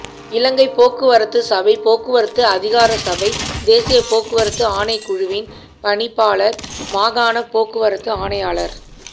இலங்கை போக்குவரத்துச்சபை போக்குவரத்து அதிகாரசபை தேசிய போக்குவரத்து ஆணைக்குழுவின் பணிப்பாளர் மாகாண போக்குவரத்து ஆணையாளர்